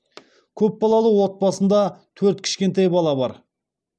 көп балалы отбасында төрт кішкентай бала бар